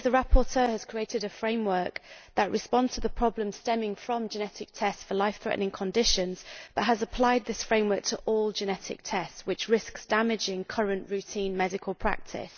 I believe the rapporteur has created a framework that responds to the problems stemming from genetic tests for life threatening conditions but has applied this framework to all genetic tests, which risks damaging current routine medical practice.